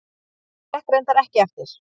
Það gekk reyndar ekki eftir.